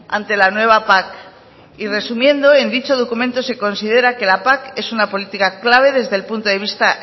ante la nueva pac y resumiendo en dicho documento se considera que la pac es una política clave desde el punto de vista